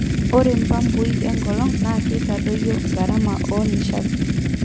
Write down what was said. Ore mpapuii enkolong na keitadoyo gharama oo nishatii